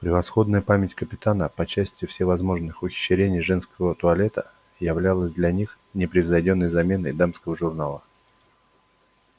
превосходная память капитана по части всевозможных ухищрений женского туалета являлась для них непревзойдённой заменой дамского журнала